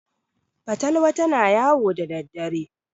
fatalwa tana yawo da daddare